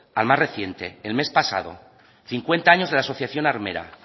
al más reciente el mes pasado cincuenta años de la asociación armera